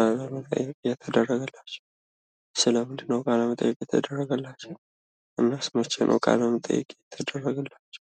አቀባበል እየተደረገላቸው ስለ ምንድን ነው ቃለመጠይቅ የተደረገላቸው? እናስ መቼ ነው ቃለመጠይቅ የተደረገላቸው?